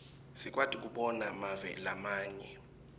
sikwati kobona mave lamanye